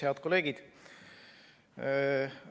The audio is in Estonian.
Head kolleegid!